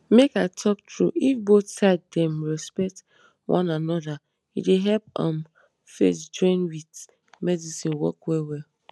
make i talk true if both side dem respect one anoda e dey help emm faith join with medicine work well well.